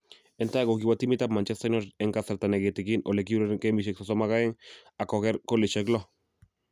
En tai ko kiwo timitab Manchester United en kasarata ne kitigin ole kiureren gemisiek 32 ak koger goolisiek lo